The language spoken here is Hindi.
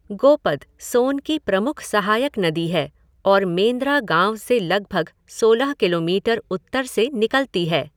गोपद सोन की प्रमुख सहायक नदी है और मेंद्रा गाँव से लगभग सोलह किलोमीटर उत्तर से निकलती है।